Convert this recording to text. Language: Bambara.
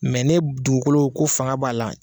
ne dugukolo ko fanga b'a la